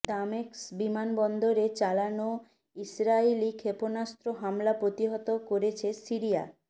দামেস্ক বিমানবন্দরে চালানো ইসরাইলি ক্ষেপণাস্ত্র হামলা প্রতিহত করেছে সিরিয়া